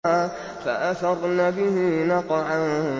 فَأَثَرْنَ بِهِ نَقْعًا